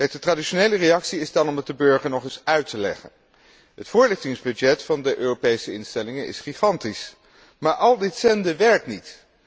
De traditionele reactie is dan om het de burger nog eens uit te leggen. Het voorlichtingsbudget van de Europese instellingen is gigantisch, maar al dit zenden werkt niet.